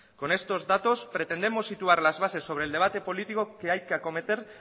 con estos datos pretendemos situar las bases sobre el debate político que hay que acometer